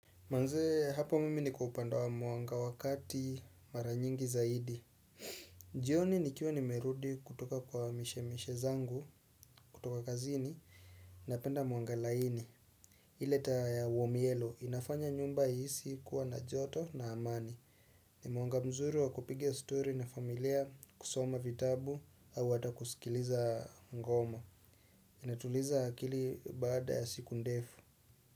Manze, hapo mimi niko upande wa mwanga wa kati mara nyingi zaidi. Jioni nikiwa nimerudi kutoka kwa mishemishe zangu, kutoka kazini napenda mwanga laini. Ile taa ya warm yellow, inafanya nyumba ihisi kuwa na joto na amani. Ni mwanga mzuri wa kupiga story na familia, kusoma vitabu au hata kusikiliza ngoma. Inatuliza akili baada ya siku ndefu.